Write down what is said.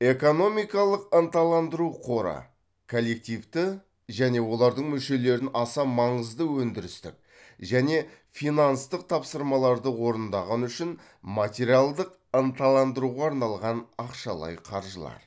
экономикалық ынталандыру қоры коллективті және олардың мүшелерін аса маңызды өндірістік және финанстық тапсырмаларды орындағаны үшін материалдық ынталандыруға арналған ақшалай қаржылар